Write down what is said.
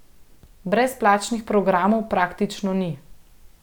Brezplačnih programov praktično ni.